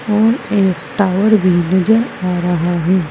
और एक टावर भी नजर आ रहा है।